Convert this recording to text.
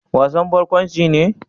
Wasan barkwanci ne?